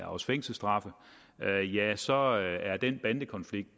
også fængselsstraffe ja så er den bandekonflikt